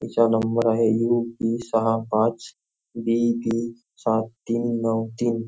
ह्याच्यावर नंबर आहे U P सहा पाच बी बी सात तीन नऊ तीन.